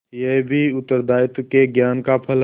यह भी उत्तरदायित्व के ज्ञान का फल है